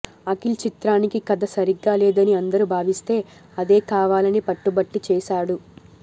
అఖిల్ చిత్రానికి కథ సరిగ్గా లేదని అందరూ భావిస్తే అదే కావాలని పట్టుబట్టి చేసాడు